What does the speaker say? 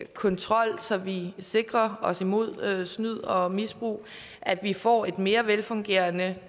kontrol så vi sikrer os mod snyd og misbrug og at vi får et mere velfungerende